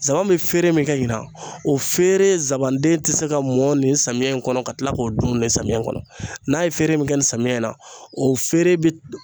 Zanba bi feere min kɛ ɲina o feere zabanden ti se ka mɔn nin samiyɛ in kɔnɔ, ka kila k'o dun samiyɛ kɔnɔ, n'a ye feere min kɛ nin samiyɛ in na o feere bi